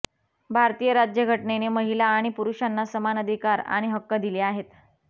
भारतीय राज्य घटनेने महिला आणि पुरुषांना समान अधिकार आणि हक्क दिले आहेत